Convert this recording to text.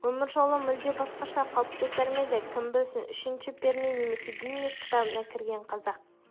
өмір жолы мүлде басқаша қалыптасар ма еді кім білсін үшінші перне немесе гиннесс кітабына кірген қазақ